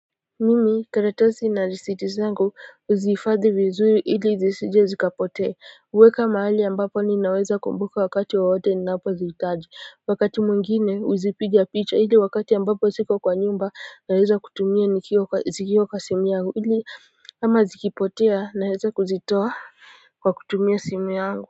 Mimi karatasi na risiti zangu huzifadhi vizuri ili zisije zikapotea huweka mahali ambapo ninaweza kumbuka wakati wowote ninapozihitaji wakati mwingine huzipiga picha ili wakati ambapo siko kwa nyumba naweza kutumia nikiwa zikiwa kwa simu yangu hili ama zikipotea naweza kuzitoa kwa kutumia simu yangu.